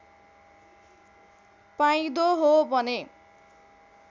पाइँदो हो भने